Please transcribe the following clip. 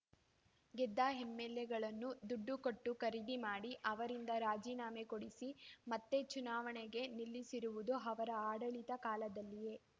ಗೆದ್ದ ಎಂಎಲ್‌ಎಗಳನ್ನು ದುಡ್ಡು ಕೊಟ್ಟು ಖರೀದಿ ಮಾಡಿ ಅವರಿರಂದ ರಾಜೀನಾಮೆ ಕೊಡಿಸಿ ಮತ್ತೇ ಚುನಾವಣೆಗೆ ನಿಲ್ಲಿಸಿರುವುದು ಅವರ ಆಡಳಿತದ ಕಾಲದಲ್ಲಿಯೇ